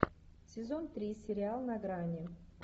сезон три сериал на грани